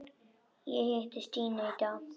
Ég hitti Stínu í dag.